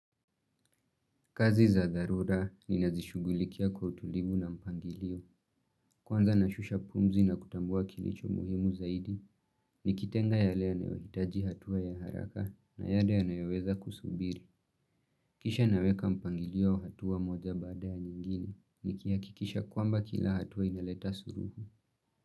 Kazi za dharura ni nazishugulikia kwa utulivu na mpangilio. Kwanza nashusha pumzi na kutambua kilicho muhimu zaidi. Nikitenga yale yana yohitaji hatua ya haraka na yale ya nayoweza kusubiri. Kisha naweka mpangilio hatua moja bada ya nyingine. Nikihakikisha kwamba kila hatua inaleta suluhu.